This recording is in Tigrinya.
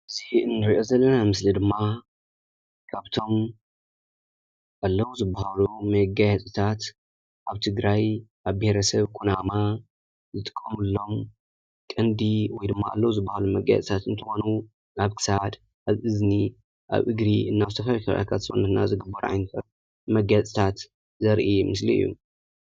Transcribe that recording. እዚ ንሪኦ ዘለና ምስሊ ድማ ካብቶም ኣለዉ ዝበሃሉ መጋየፅታት ኣብ ትግራይ ኣብ ብሄረሰብ ኩናማ ዝጥቀሙሎም ቀንዲ ወይ ድማ ኣለዉ ዝበሃሉ መጋየፂታት እንትኾኑ ኣብ ክሳድ፣ ኣብ እዝኒ፣ ኣብ እግሪ እና ኣብ ዝተፈላለዩ ከባቢ ሰውነትና ዝግበሩ ዓይነታት መጋየፅታት ዘርኢ ምስሊ እዩ፡፡